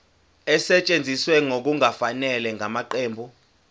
esetshenziswe ngokungafanele ngamaqembu